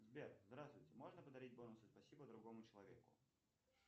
сбер здравствуйте можно подарить бонусы спасибо другому человеку